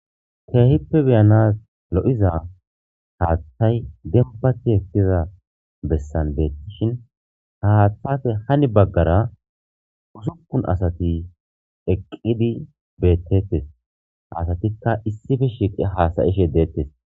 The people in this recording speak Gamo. keehippe beyanas lo'iza haaththay dembati ekkiza bessan beettishin ha haaththafe hani baggara usukun asati eqqidi beettettes ha asatikka issife shiiqi haasayishe deettes